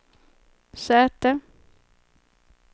säte